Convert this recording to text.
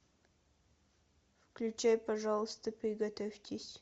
включай пожалуйста приготовьтесь